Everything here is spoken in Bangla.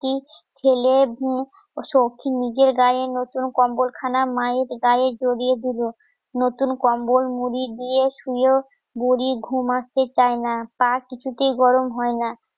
ছেলে, বউ, সখী নিজের গায়ে নতুন কম্বল খানা, মায়ের গায়ে জড়িয়ে দিল নতুন কম্বল মুড়ি দিয়ে শুয়ে বুরি ঘুমাতে চায় না পা কিছুতেই গরম হয় না